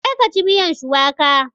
Je ka ci miyan shuwaka!